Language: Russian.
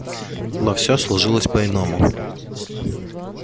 но все сложилось по иному